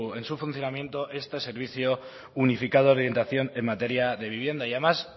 en su funcionamiento este servicio unificado de orientación en materia de vivienda y además